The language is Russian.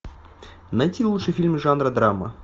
найти лучшие фильмы жанра драма